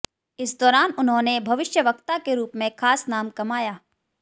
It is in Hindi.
इस दौरान उन्होनें भविष्यवक्ता के रूप में खास नाम कमाया